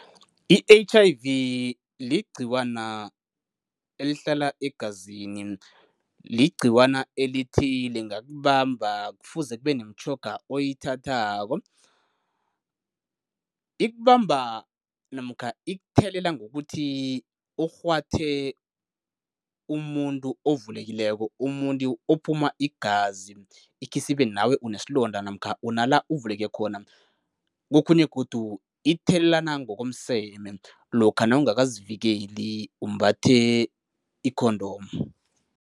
I-H_I_V ligcikwana elihlala egazini. Ligcikwana elithi lingakubamba kufuze kube nemitjhoga oyithathako. Ikubamba namkha ikuthelela ngokuthi ukghwathe umuntu ovulekileko, umuntu ophuma igazi ikhisibe nawe unesilonda namkha unala uvuleke khona. Kokhunye godu ithelelana ngokomseme, lokha nawungakazivikeli umbathe i-condom.